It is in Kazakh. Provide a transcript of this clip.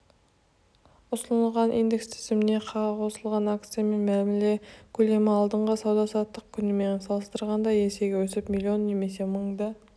ұсынылған индекс тізіміне қосылған акциямен мәміле көлемі алдыңғы сауда-саттық күнімен салыстырғанда есеге өсіп миллион немесе мыңды